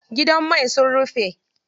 Gidan mai sun rufe.